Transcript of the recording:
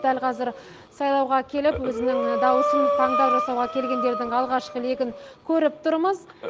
дәл қазір сайлауға келіп өзінің даусын таңдау жасауға келгендердің алғашқы легін көріп тұрмыз